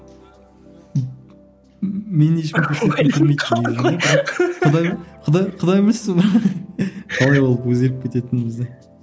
құдай білсін ол қалай болып өзгеріп кететінімізді